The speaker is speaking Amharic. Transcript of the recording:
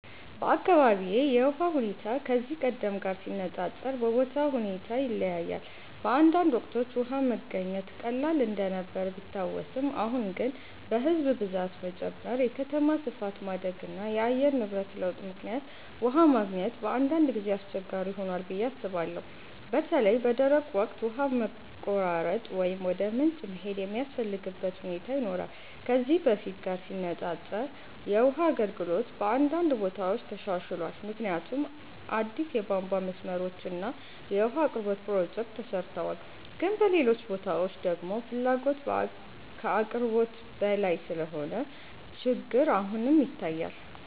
በአካባቢዬ የውሃ ሁኔታ ከዚህ ቀደም ጋር ሲነፃፀር በቦታው ሁኔታ ይለያያል። በአንዳንድ ወቅቶች ውሃ መገኘት ቀላል እንደነበር ቢታወስም፣ አሁን ግን በሕዝብ ብዛት መጨመር፣ የከተማ ስፋት ማደግ እና የአየር ንብረት ለውጥ ምክንያት ውሃ ማግኘት በአንዳንድ ጊዜ አስቸጋሪ ሆኗል ብዬ አስባለሁ። በተለይ በደረቅ ወቅት ውሃ መቆራረጥ ወይም ወደ ምንጭ መሄድ የሚያስፈልግበት ሁኔታ ይኖራል። ከዚህ በፊት ጋር ሲነፃፀር የውሃ አገልግሎት በአንዳንድ ቦታዎች ተሻሽሏል፣ ምክንያቱም አዲስ የቧንቧ መስመሮች እና የውሃ አቅርቦት ፕሮጀክቶች ተሰርተዋል። ግን በሌሎች ቦታዎች ደግሞ ፍላጎት ከአቅርቦት በላይ ስለሆነ ችግር አሁንም ይታያል።